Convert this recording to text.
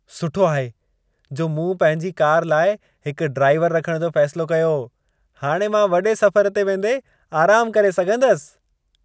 सुठो आहे जो मूं पंहिंजी कार लाइ हिक ड्राइवरु रखण जो फ़ैसिलो कयो। हाणे मां वॾे सफ़र ते वेंदे आरामु करे सघंदसि।